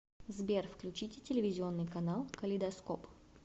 сбер включите телевизионный канал калейдоскоп